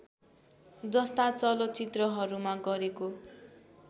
जस्ता चलचित्रहरूमा गरेको